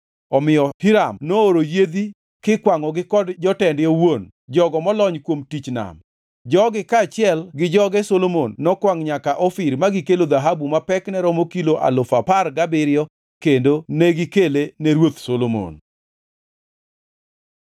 Omiyo Hiram nooro yiedhi kikwangʼogi kod jotende owuon, jogo molony kuom tich nam. Jogi kaachiel gi joge Solomon nokwangʼ nyaka Ofir ma gikelo dhahabu ma pekne romo kilo alufu apar gabiriyo kendo negikele ne Ruoth Solomon.